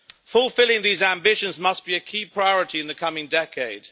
Fulfilling these ambitions must be a key priority in the coming decade.